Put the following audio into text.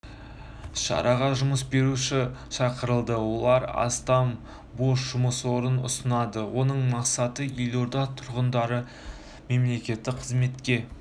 шараға жұмыс беруші шақырылды олар астам бос жұмыс орнын ұсынады оның мақсаты елорда тұрғындарын мемлекеттік қызметке